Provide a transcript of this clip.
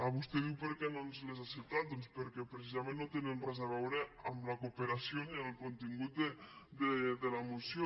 vostè diu per què no ens les ha acceptat doncs perquè precisament no tenen res a veure amb la coope ració ni amb el contingut de la moció